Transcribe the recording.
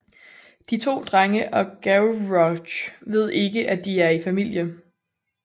De to drenge og Gavroche ved ikke at de er i familie